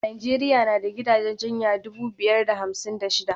Najeriya na da gidajen jinya dubu biyar da hamsin da shida